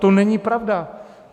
To není pravda.